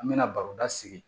An mɛna baroda sigi